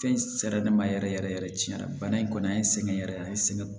Fɛn sɛrɛ ne ma yɛrɛ yɛrɛ yɛrɛ tiɲɛ na bana in kɔni an ye sɛgɛn yɛrɛ an ye sɛgɛn